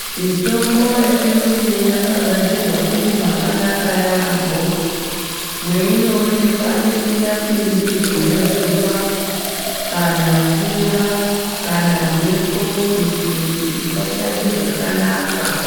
Mitombo yechiyungu yakagadzirwa iri mwakanaka yaampho, mweinoonekwa isingapindirwi ngemvura kana ngezuva, kana mvura nemphepo kuti isashande zvakanaka.